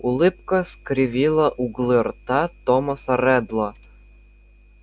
улыбка скривила углы рта томаса реддла